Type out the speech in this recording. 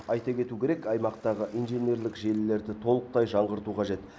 айта кету керек аймақтағы инженерлік желілерді толықтай жаңғырту қажет